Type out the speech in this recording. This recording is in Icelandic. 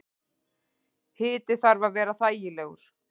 Hiti þarf að vera þægilegur.